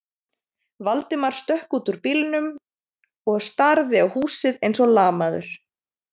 Valdimar stökk út úr bílnum og starði á húsið eins og lamaður.